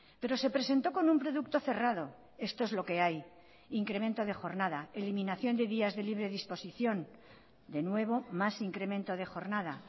pero se presentó con un producto cerrado esto es loque hay incremento de jornada eliminación de días de libre disposición de nuevo más incremento de jornada